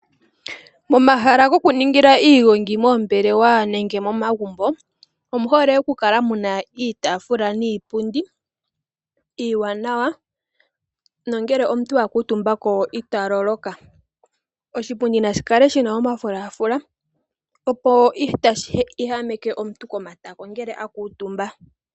Momahala gokuningila iigongi moombelewa nenge momagumbo omu hole okukala mu na iitafula niipundi iiwanawa nongele omuntu a kuutumba ita loloka. Oshipundi nashi kale shi na omafulafula opo kashi lulumike omuntu komatako ngele a kuutumba.